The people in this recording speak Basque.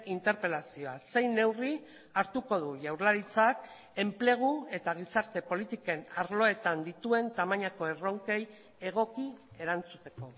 interpelazioa zein neurri hartuko du jaurlaritzak enplegu eta gizarte politiken arloetan dituen tamainako erronkei egoki erantzuteko